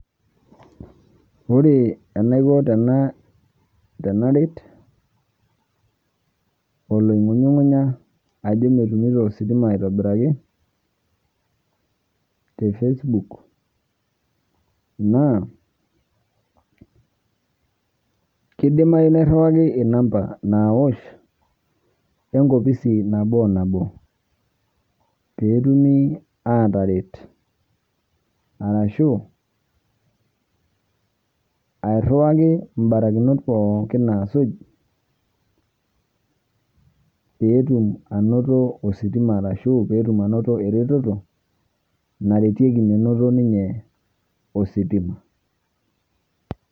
Ore enaiko tenaa, tenaret oloing'unyung'unya ajo metumito ositima aitobiraki te  facebook naa keidimayu nairriwaki inamba naaosh enkopisi nabo o nabo peetumi aataret arashu airriwaki imbarakinot pooki naasuj peetum anoto ositima arashu peetum anoto eretoto naretieki menoto ninye ositima.